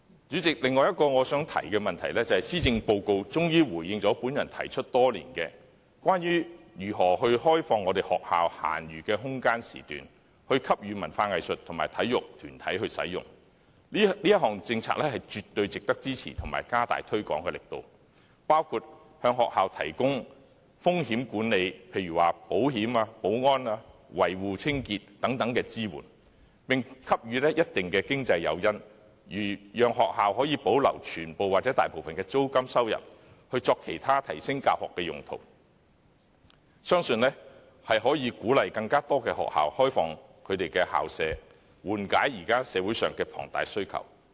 主席，我想提出的另一點，就是施政報告終於回應我提出多年的建議，即如何開放學校閒餘的空間時段，供文化藝術及體育團體使用，這項政策絕對值得支持和大力推廣，包括向學校提供風險管理，例如保險、保安、維護、清潔等支援，並給予一定的經濟誘因，讓學校可以保留全部或大部分的租金收入作其他提升教學的用途，我相信這樣可鼓勵更多學校開放其校舍，緩解現時社會上的龐大需求。